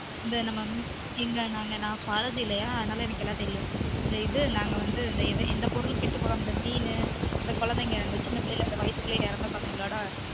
இந்த நம்ம இந்த நாங்க நான் zoology இல்லயா அதுனால எனக்கு எல்லாம் தெரியும் இந்த இது எந்த பொருளும் கெட்டு போகாம மீனு இந்த குழந்தைங்க சின்ன பிள்ளைல வயத்துக்குள்ளே இறந்த குழந்தைங்களொட